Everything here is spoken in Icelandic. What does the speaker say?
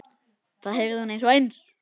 Það heyrði hún undir eins.